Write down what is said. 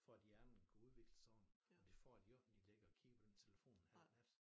For at hjernen kan udvikle sig ordenligt og det får de jo ikke når de ligger og kigger på den telefon en halv nat